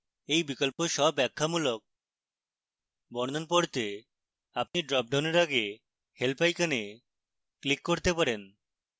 you বিকল্প স্বব্যাখ্যামূলক বর্ণন পড়তে আপনি dropdown এর আগে help icon click করতে পারেন